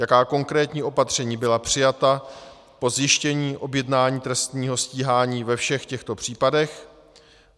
Jaká konkrétní opatření byla přijata po zjištění objednání trestního stíhání ve všech těchto případech.